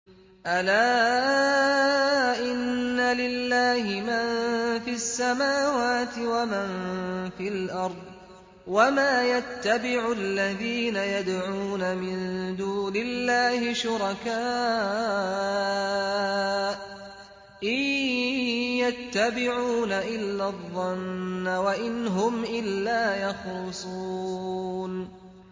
أَلَا إِنَّ لِلَّهِ مَن فِي السَّمَاوَاتِ وَمَن فِي الْأَرْضِ ۗ وَمَا يَتَّبِعُ الَّذِينَ يَدْعُونَ مِن دُونِ اللَّهِ شُرَكَاءَ ۚ إِن يَتَّبِعُونَ إِلَّا الظَّنَّ وَإِنْ هُمْ إِلَّا يَخْرُصُونَ